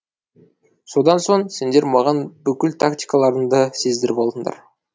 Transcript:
содан соң сендер маған бүкіл тактикаларынды сездіріп алдыңдар